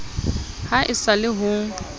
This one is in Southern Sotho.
ha e sa le yo